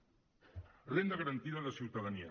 renda garantia de ciutadania